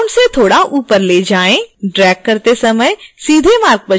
drag करते समय सीधे मार्ग पर चलने के लिए shift key का प्रयोग करें